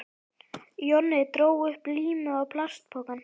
Jonni dró upp límið og plastpokann.